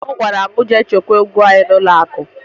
Nna m gwara m jee chekwaa ego anyị n'ụlọakụ